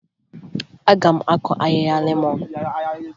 Aga m akụ ahịhịa lemọn